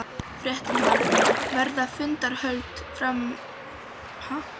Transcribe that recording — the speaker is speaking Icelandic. Fréttamaður: Verða fundarhöld hér áfram í kvöld og í nótt?